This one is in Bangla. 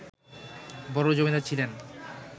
বড় জমীদার ছিলেন